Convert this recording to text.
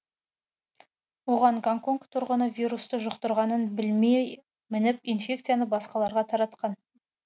оған гонконг тұрғыны вирусты жұқтырғанын білмей мініп инфекцияны басқаларға таратқан